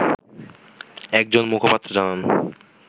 একজন মুখপাত্র জানান